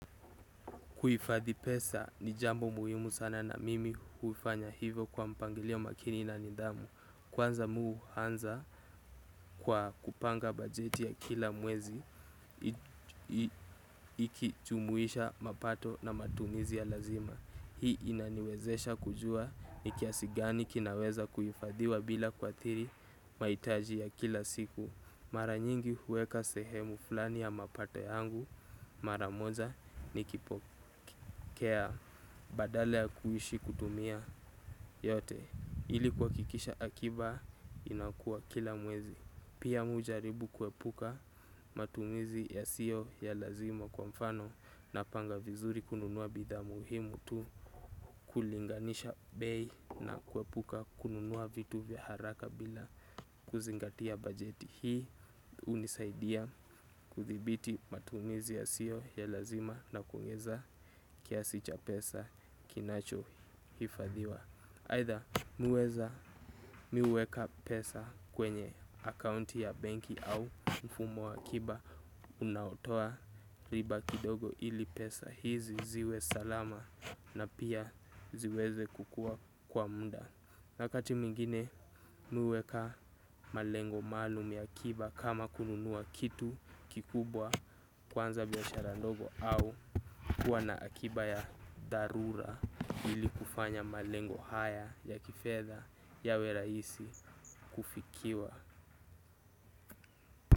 Kuifadhi pesa ni jambo muhimu sana na mimi huifanya hivyo kwa mpangilio makini na nidhamu. Kwanza mi huanza kwa kupanga bajeti ya kila mwezi ikichumuisha mapato na matumizi ya lazima. Hii inaniwezesha kujua ni kiasi gani kinaweza kuifadhiwa bila kuathiri mahitaji ya kila siku. Mara nyingi huweka sehemu fulani ya mapate yangu mara moja nikipokea badala ya kuishi kutumia yote ili kuwakikisha akiba inakua kila mwezi. Pia mi hujaribu kuwepuka matumizi yasiyo ya lazima kwa mfano napanga vizuri kununua bidhaa muhimu tu kulinganisha bei na kuepuka kununua vitu vya haraka bila kuzingatia bajeti. Hii unisaidia kuthibiti matumizi yasiyo ya lazima na kuongeza kiasi cha pesa kinacho hifadhiwa. Either mi huweza mi huweka pesa kwenye akaunti ya banki au mfumo wa akiba unaotoa riba kidogo ili pesa hizi ziwe salama na pia ziweze kukua kwa muda. Nyakati mingine mi huweka malengo maalum ya akiba kama kununua kitu kikubwa kuanza biashara ndogo au kuwa na akiba ya dharura ili kufanya malengo haya ya kifedha yawe rahisi kufikiwa.